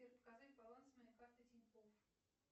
сбер показать баланс моей карты тинькофф